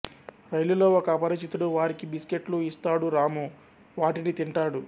రైలులో ఒక అపరిచితుడు వారికి బిస్కెట్లు ఇస్తాడురాము వటిని తింటాడు